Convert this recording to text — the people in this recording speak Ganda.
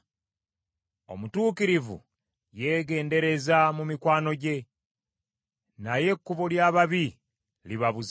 Omutuukirivu yeegendereza mu mikwano gye, naye ekkubo ly’ababi libabuza.